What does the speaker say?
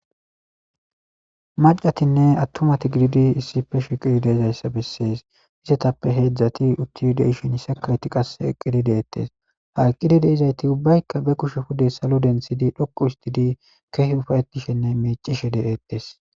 Macatinne attumati gididi issife shiqidi deezayssa bessees izetappe heedzdzati utti de ishen yisakawyti qas eqqidi deettes ha eqqidide izayti ubbaykka be kushe pude salo dentsidi dhoqu histidi keehi ufayetishenne meecishe de'ettes.